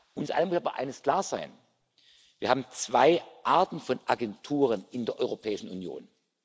Uns allen muss aber eines klar sein Wir haben zwei Arten von Agenturen in der Europäischen Union.